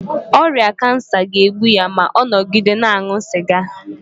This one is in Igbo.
ọrịa kansa ga-egbu ya ma ọ nọgide na-aṅụ sịga